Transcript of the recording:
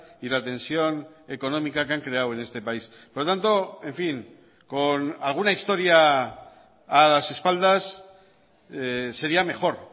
y la tensión económica que han creado en este país por lo tanto en fin con alguna historia a las espaldas sería mejor